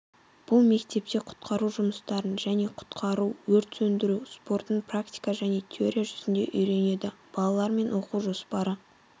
бұл мектепте құтқару жұмыстарын және құтқару-өрт сөндіру спортын практика және теория жүзінде үйренеді балалармен оқу жоспары